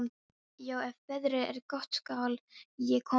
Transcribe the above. Já, ef veðrið er gott skal ég koma með þér.